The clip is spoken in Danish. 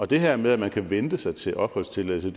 det her med at man kan vente sig til opholdstilladelse